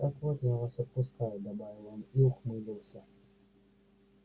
так вот я вас отпускаю добавил он и ухмыльнулся